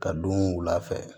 Ka don wula fɛ